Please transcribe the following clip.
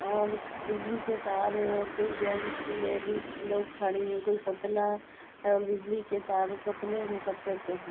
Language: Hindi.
और बिजली के तार हैं और कोई जेंट्स लेडीज लोग खड़े है। कोई पुतला और बिजली के तार और पुतले ने कपड़े पहने --